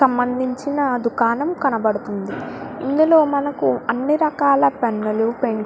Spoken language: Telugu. సంబందించిన దుకాణం కనబడుతుంది ఇందులో మనకు అన్ని రకాల పెన్నులు పెన్స్ --